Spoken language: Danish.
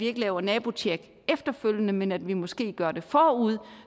ikke laver nabotjek efterfølgende men at vi måske gør det forud